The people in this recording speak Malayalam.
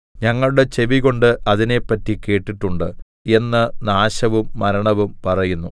ഞങ്ങളുടെ ചെവികൊണ്ട് അതിനെപ്പറ്റി കേട്ടിട്ടുണ്ട് എന്ന് നാശവും മരണവും പറയുന്നു